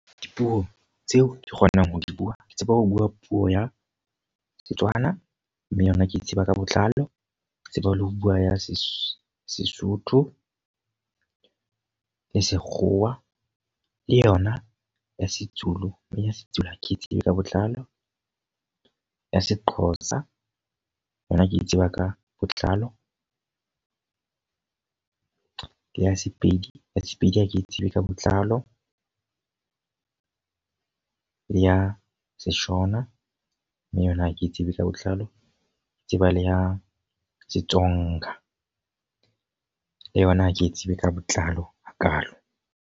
Dipuo tseo ke kgonang ho di bua, ke tsebe ho bua puo ya Setswana. Mme yona ke e tseba ka botlalo. Ke tseba le ho bua ya Sesotho le sekgowa, le yona ya seZulu. Mme ya seZulu ha ke tsebe ka botlalo. Ya seXhosa yona ke e tseba ka botlalo. Ya Sepedi, ya Sepedi ha ke tsebe ka botlalo. Le ya seshona, mme yona ha ke tsebe ka botlalo. Ke tseba le ya seTsonga le yona ha ke tsebe ka botlalo hakalo.